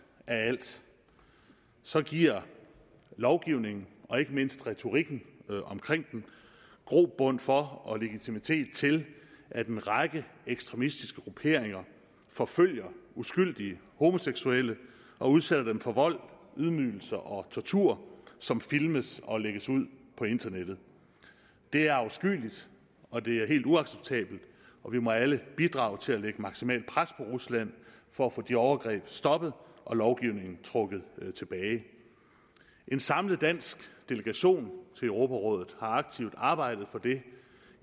af alt så giver lovgivningen og ikke mindst retorikken omkring den grobund for og legitimitet til at en række ekstremistiske grupperinger forfølger uskyldige homoseksuelle og udsætter dem for vold ydmygelser og tortur som filmes og lægges ud på internettet det er afskyeligt og det er helt uacceptabelt og vi må alle bidrage til at lægge maksimalt pres på rusland for at få de overgreb stoppet og lovgivningen trukket tilbage en samlet dansk delegation i europarådet har aktivt arbejdet for det